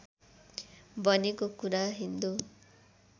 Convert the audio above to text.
बनेको कुरा हिन्दू